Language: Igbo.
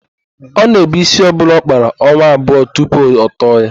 Ọ na-èbú ísí ọbụla ọ kpara ọnwa abụọ tupu ọ tọọ ya.